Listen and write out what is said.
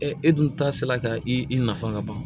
e dun ta sera ka i nafa ka ban